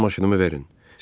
Mənə maşınımı verin.